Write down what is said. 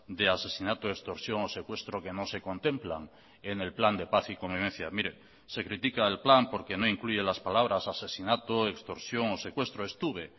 de asesinato extorsión o secuestro que no se contemplan en el plan de paz y convivencia mire se critica el plan porque no incluye las palabras asesinato extorsión o secuestro estuve